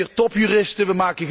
Wij hebben hier topjuristen.